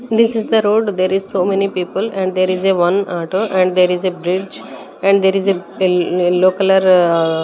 This is the road there is so many people and there is a one auto and there is a bridge and there is a yellow colour --